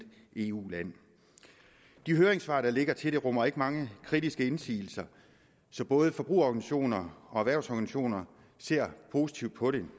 eu land de høringssvar der ligger til forslaget rummer ikke mange kritiske indsigelser så både forbrugerorganisationer og erhvervsorganisationer ser positivt på det